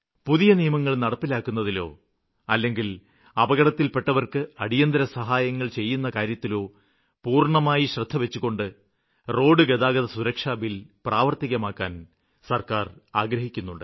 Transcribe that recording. പുതിയ നിയമങ്ങള് നടപ്പിലാക്കുന്നതിലോ അല്ലെങ്കില് അപകടത്തില്പ്പെട്ടവര്ക്ക് അടിയന്തിരസഹായങ്ങള് ചെയ്യുന്ന കാര്യത്തിലോ പൂര്ണ്ണമായി ശ്രദ്ധവച്ചുകൊണ്ട് റോഡുഗതാഗത സുരക്ഷാ ബില് പ്രാവര്ത്തികമാക്കാന് സര്ക്കാര് ആഗ്രഹിക്കുന്നുണ്ട്